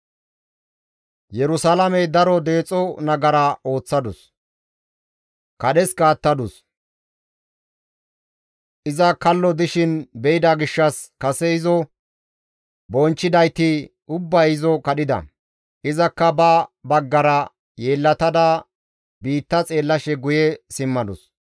Yerusalaamey daro deexo nagara ooththadus; kadheska attadus; iza kallo dishin be7ida gishshas kase izo bonchchidayti ubbay izo kadhida; izakka ba baggara yeellatada biitta xeellashe guye simmadus.